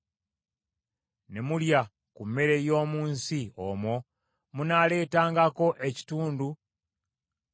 ne mulya ku mmere y’omu nsi omwo, munaaleetangako ekitundu nga kye kiweebwayo eri Mukama .